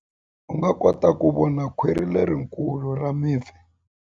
U nga kota ku vona khwiri lerikulu ra mipfi.